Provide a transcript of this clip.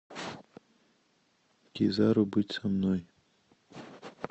кизару быть со мной